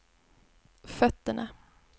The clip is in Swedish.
fötterna